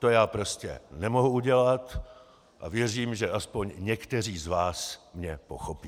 To je prostě nemohu udělat a věřím, že aspoň někteří z vás mě pochopí.